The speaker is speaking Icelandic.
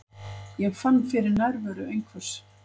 Ég fann fyrir nærveru einhvers.